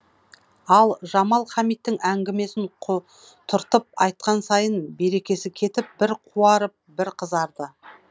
ал жамал хамит әңгімесін құтыртып айтқан сайын берекесі кетіп бір қуарып бір қызарды